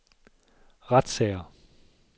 retssager